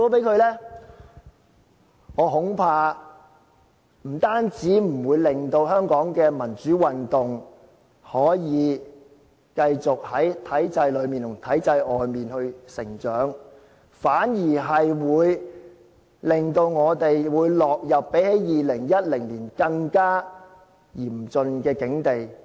那麼，我恐怕，不單不會令香港的民主運動繼續在體制裏面和外面成長，反而令我們落入比2010年更加嚴峻的境地。